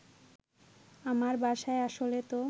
আমার বাসায় আসলে তো